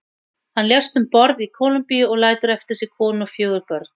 Hann lést um borð í Kólumbíu og lætur eftir sig konu og fjögur börn.